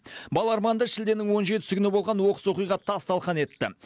бала арманды шілденің он жетісі күні болған оқыс оқиға тас талқан етті